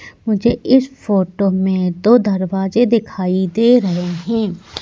मुझे इस फोटो में दो दरवाजे दिखाई दे रहे हैं।